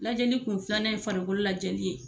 Lajɛli kun filanan ye farikolo lajɛli ye.